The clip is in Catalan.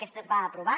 aquesta es va aprovar